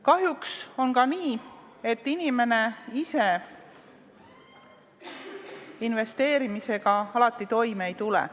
Kahjuks on nii, et inimene ise investeerimisega alati toime ei tule.